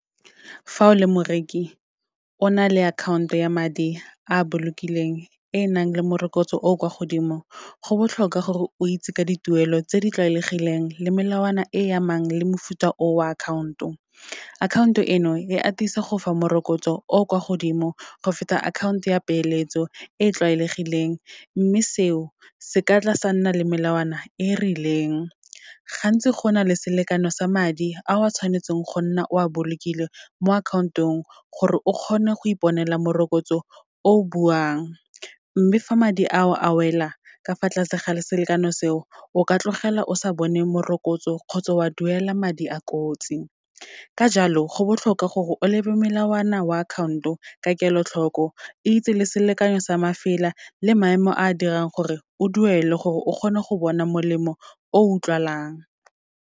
Fa o le moreki, o na le akhaonto ya madi a bolokileng e nang le morokotso o o kwa godimo, go botlhokwa gore o itse ka dituelo tse di tlwaelegileng le melawana e amang le mofuta o wa akhaonto. Akhaonto eno, e atisa go fa morokotso o kwa godimo, go feta akhaonto ya peeletso e tlwaelegileng. Mme seo, se ka tla sa nna le melawana e rileng. Gantsi go na le selekano sa madi, ao wa tshwanetseng go nna o a bolokile mo akhaontong gore o kgone go iponela morokotso o buang. Mme fa madi a o a wela, ka fa tlase ga le selekano seo, o ka tlogela o sa bone morokotso kgotsa o a duela madi a kotsi. Ka jalo, go botlhokwa gore o lebe melawana wa account-o ka kelotlhoko, itse le selekanyo sa mafela, le maemo a dirang gore o duele gore o kgone go bona molemo o utlwalang.